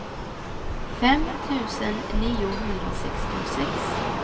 fem tusen niohundrasextiosex